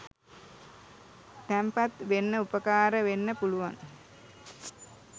තැන්පත් වෙන්න උපකාර වෙන්න පුළුවන්.